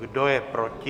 Kdo je proti?